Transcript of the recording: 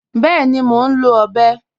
Bẹẹ̀ni, mó nlọ̀ ọbẹ